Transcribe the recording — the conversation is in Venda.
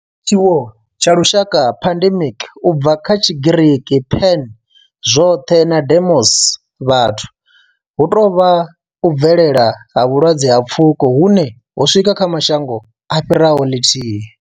Tshiwo tsha lushaka pandemic, u bva kha Tshigiriki pan, zwothe na demos, vhathu hu tou vha u bvelela ha vhulwadze ha pfuko hune ho swika kha mashango a fhiraho ḽithihi.